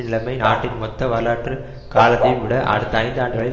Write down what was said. நிலைமை நாட்டின் மொத்த வரலாற்று காலத்தையும் விட அடுத்த ஐந்து ஆண்டுகளில்